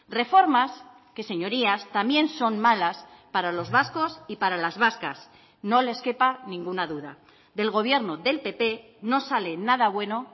reformas que señorías también son malas para los vascos y para las vascas no les quepa ninguna duda del gobierno del pp no sale nada bueno